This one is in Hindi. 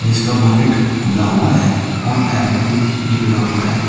इसका बोनेट खुला हुआ है और इसका टायर भी निकड़ा हुआ है।